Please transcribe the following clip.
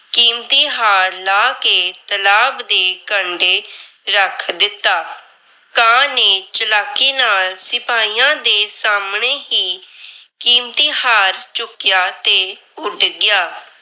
ਕੀਮਤੀ ਹਾਰ ਲਾਹ ਕੇ ਤਲਾਬ ਦੇ ਕੰਢੇ ਰੱਖ ਦਿੱਤਾ। ਕਾਂ ਨੇ ਚਲਾਕੀ ਨਾਲ ਸਿਪਾਹੀਆਂ ਦੇ ਸਾਹਮਣੇ ਹੀ ਕੀਮਤੀ ਹਾਰ ਚੁੱਕਿਆ ਤੇ ਉੱਡ ਗਿਆ।